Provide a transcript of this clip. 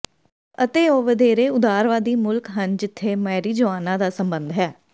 ਅਤੇ ਉਹ ਵਧੇਰੇ ਉਦਾਰਵਾਦੀ ਮੁਲਕ ਹਨ ਜਿੱਥੇ ਮਾਰਿਜੁਆਨਾ ਦਾ ਸੰਬੰਧ ਹੈ